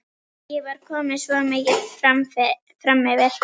Ég var komin svo mikið framyfir.